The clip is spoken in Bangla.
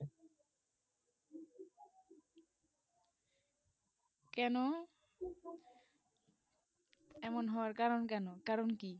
কেনো এমন হরকারনক কেনো কারণ কি